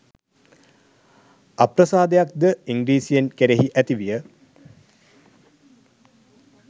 අප්‍රසාදයක්ද ඉංග්‍රීසීන් කෙරෙහි ඇති විය